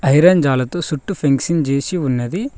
Iron జాలతో సుట్టు fencing చేసి ఉన్నది.